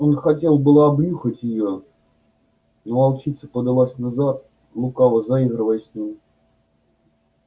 он хотел было обнюхать её но волчица подалась назад лукаво заигрывая с ним